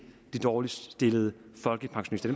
de dårligst stillede folkepensionister